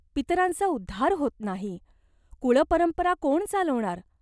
पितरांचा उद्धार होत नाही. कुळपरंपरा कोण चालवणार?